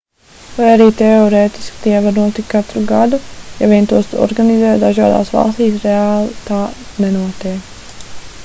lai arī teorētiski tie var notikt katru gadu ja vien tos organizē dažādās valstīs reāli tā nenotiek